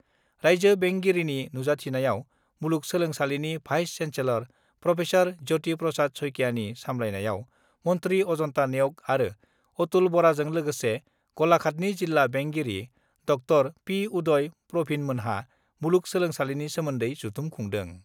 राइज्यो बेंगिरिनि नुजाथिनायाव मुलुगसोलोंसालिनि vice chancellor professor Jyoti Prasad शइकियानि सामलायनायाव मन्थ्रि अजन्ता नेउग आरो अतुल बराजों लोगोसे गलाघाटनि जिल्ला बेंगिरि ड पि उदय प्रभिनमोनहा मुलुग सोलोंसालिनि सोमोन्दै जथुम खुंदों।